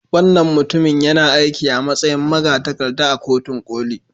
Wannan mutumin yana aiki a matsayin magatakarda a Kotun Koli.